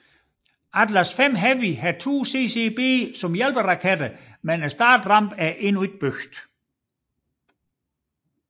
Atlas V Heavy har to CCB som hjælperaketter men startrampen er endnu ikke bygget